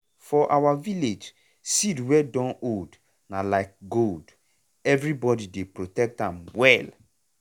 for our village seed wey don old na like gold everybody dey protect am well.